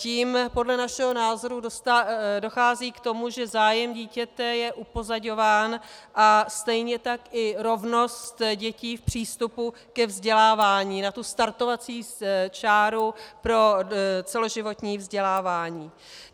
Tím podle našeho názoru dochází k tomu, že zájem dítěte je upozaďován a stejně tak i rovnost dětí v přístupu ke vzdělávání, na tu startovací čáru pro celoživotní vzdělávání.